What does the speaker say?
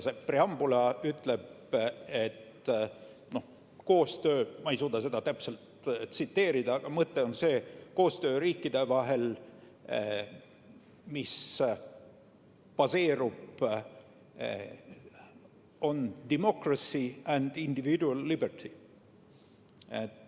See preambul ütleb – ma ei suuda seda täpselt tsiteerida, aga mõte on see –, et see, millel koostöö riikide vahel baseerub, on democracy and individual liberty.